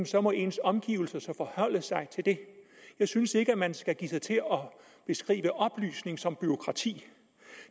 så må ens omgivelser forholde sig til det jeg synes ikke at man skal give sig til at beskrive oplysning som bureaukrati